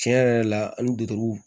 Tiɲɛ yɛrɛ la ani